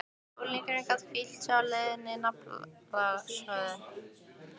Unglingurinn gat hvílt sig á leiðinlegri naflaskoðun.